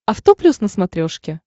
авто плюс на смотрешке